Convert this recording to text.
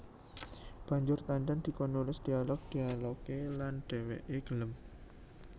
Banjur Tandan dikon nulis dialog dialogé lan dhèwèké gelem